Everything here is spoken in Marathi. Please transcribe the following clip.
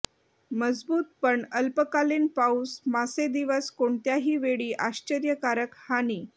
मजबूत पण अल्पकालीन पाऊस मासे दिवस कोणत्याही वेळी आश्चर्यकारक हानी